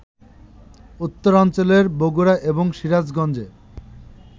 উত্তরাঞ্চলের বগুড়া এবং সিরাজগঞ্জে